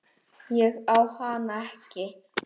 Ég á hana ekki.